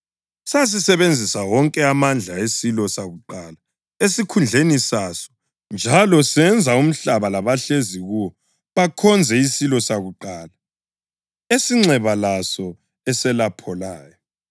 Sasisebenzisa wonke amandla esilo sakuqala esikhundleni saso njalo senza umhlaba labahlezi kuwo bakhonze isilo sakuqala, esinxeba laso eselapholayo.